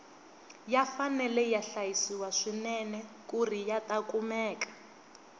ya fanele ya hlayisiwa swinene kuri yata kumeka